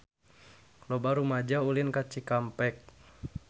Loba rumaja ulin ka Cikampek